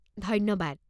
ধন্যবাদ!